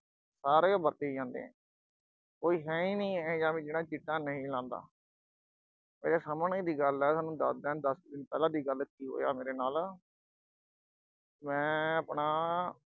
ਸਾਰੇ ਵਰਤੀ ਜਾਂਦੇ ਆ, ਕੋਈ ਹੈਨੀ ਇਹੋ ਜਾ ਵੀ ਜਿਹੜਾ ਚਿੱਟਾ ਨਹੀਂ ਲਾਉਂਦਾ, ਮੇਰੇ ਸਾਹਮਣੇ ਦੀ ਗੱਲ ਆ, ਸੋਨੂੰ ਦੱਸਦਾ ਦੱਸ ਕੁ ਦਿਨ ਪਹਿਲਾਂ ਦੀ ਗੱਲ ਆ ਕੀ ਹੋਇਆ ਮੇਰੇ ਨਾਲ ਅਹ ਮੈਂ ਅਹ ਆਪਣਾ